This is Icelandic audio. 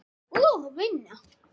Og vinna.